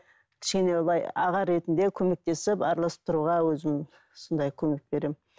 кішкене былай аға ретінде көмектесіп араласып тұруға өзім сондай көмек беремін